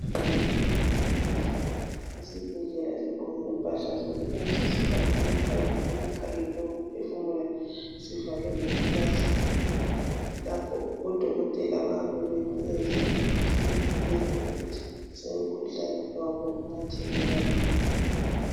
Isigulane silele embhedeni waso esibhedlela sigqoke impahla zokwelatshwa sifake amaphayiphi emakhaleni wokuphefumula sivale ngeplastiki. Lapho odokotela bayabe benzela ukuthi bevikele ukuthia umkhuhlane wabo ungethelelwana.